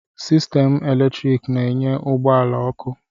Sistemụ eletrik na-enye ụgbọ ala ọkụ